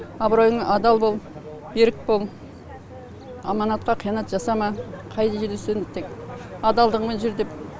абыройыңа адал бол берік бол амантқа қиянат жасама қай жерде жүрсең тек адалдығыңмен жүр деп